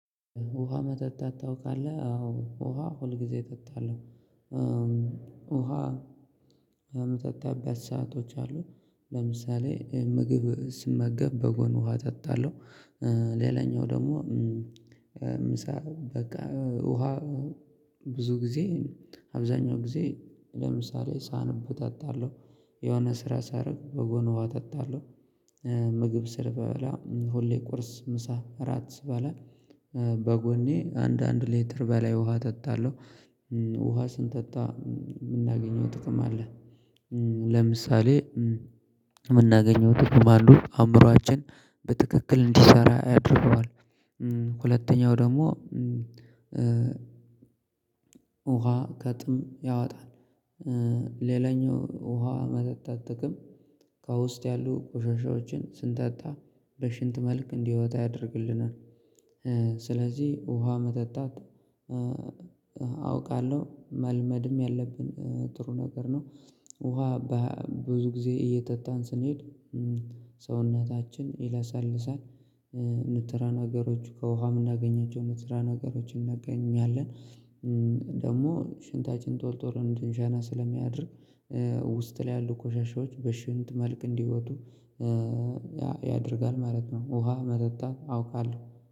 ውሃ መጠጣት ታውቃለህ አዎ ውሃ ሁል ጊዜ እጠጣለሁ። ውሃ የምጠጣበት ሰአቶች አሉ። ለምሳሌ ምግብ ስመገብ በጎን ውሃ እጠጣለሁ። ሌላኛው ደግሞ ምሳ በቃ ውሃ ብዙ ጊዜ አብዛኛው ጊዜ ለምሳሌ ሳንብ ተጣለሁ። የሆነ ስራ ሳያደርግ በጎን ውሃ ተጣለሁ። ምግብ ስበላ ሁሌ ቁርስ ምሳ እራት ስበላ በጎኔ አንድ አንድ ሌትር በላይ ውሃ ተጣለሁ። ውሃ ስንጠጣ የምናገኘው ጥቅም አለ። ለምሳሌ የምናገኘው ጥቅም አሉ አእምሮአችን በትክክል እንዲሰራ ያደርገዋል። ሁለተኛው ደግሞ ውሃ ከጥም ያወጣል። ሌላኛው ውሃ መጠጣት ጥቅም ከውስጥ ያሉ ቆሻሻዎችን ስንጠጣ በሽንት መልክ እንዲወጣ ያደርግልናል። ስለዚህ ውሃ መጠጣት አውቃለሁ መልመድም ያለብን ጥሩ ነገር ነው። ውሃ በብዙ ጊዜ እየጠጣን ስንሄድ ሰውነታችን ይላሳልሳል። ንጥረ ነገሮች ከውሃ የምናገኛቸው ንጥረ ነገሮች እናገኛለን። ደግሞ ሽንታችን ቶሎ ቶሎ እንድንሸና ስለሚያደርግ ውስጥ ላይ ያሉ ኮሻሻዎች በሽንት መልክ እንዲወጡ ያደርጋል ማለት ነው። ውሃ መጠጣት አውቃለሁ